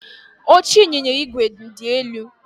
Oche ịnyịnya igwe m dị elu